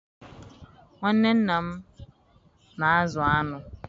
Nwanne nna m na-azụ aṅụ